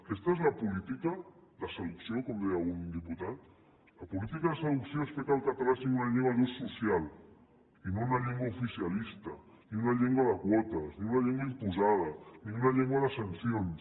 aquesta és la política de seducció com deia algun diputat la política de seducció és fer que el català sigui una llengua d’ús social i no una llengua oficialista ni una llengua de quotes ni una llengua imposada ni una llengua de sancions